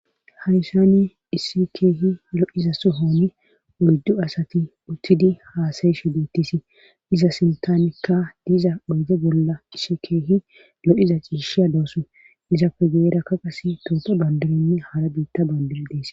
haysani issi keehi lo7iza sohoni oyddu asati uttidi haasayi shu deettisi iza sintamikka diiza moyde bolla isshi keehi lo7iza ciishiya doosu izappe geerakka qas tooto bandirinni haara biitta bandir dees